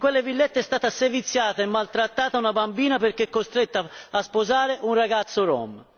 in quelle villette è stata seviziata e maltrattata una bambina perché costretta a sposare un ragazzo Rom.